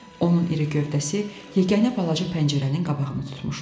Onun iri gövdəsi yeganə balaca pəncərənin qabağını tutmuşdu.